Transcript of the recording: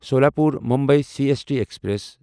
Solapur Mumbai C S T express